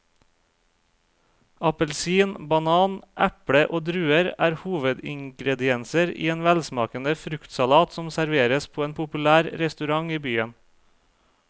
Appelsin, banan, eple og druer er hovedingredienser i en velsmakende fruktsalat som serveres på en populær restaurant i byen.